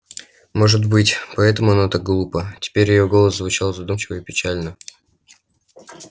может быть поэтому оно так глупо теперь её голос звучал задумчиво и печально